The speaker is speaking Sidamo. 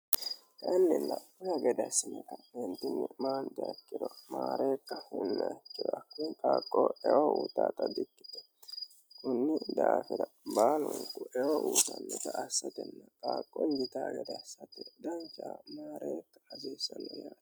annilla kura gedessameta meentinnyi maan jakkiro maareeta hunneekkirakku paaqqo eyo uutaaxa bi ikkite kunni daafira maanunqu eo uutanniga assatenna phaaqqonjita gedassate danca maareeta hasiissanner aane